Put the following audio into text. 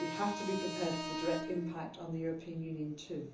drag on. We have to be prepared for a direct impact on the European